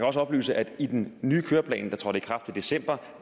også oplyse at i den nye køreplan der trådte i kraft i december